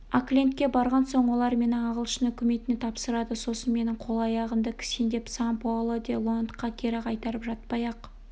оклендке барған соң олар мені ағылшын үкіметіне тапсырады сосын менің қол-аяғымды кісендеп сан-паоло де лоандқа кері қайырып жатпай-ақ